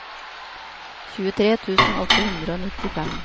tjuetre tusen åtte hundre og nittifem